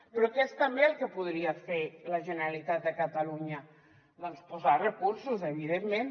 però què és també el que podria fer la generalitat de catalunya doncs posar hi recursos evidentment